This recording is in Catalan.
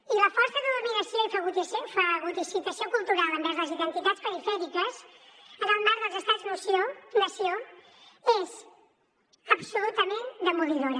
i la força de dominació i fagocitació cultural envers les identitats perifèriques en el marc dels estats nació és absolutament demolidora